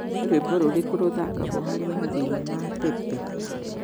nĩ rwĩmbo rũrĩkũ ruthakaagwo hari mathĩna ma pepe